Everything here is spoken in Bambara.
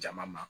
Jama ma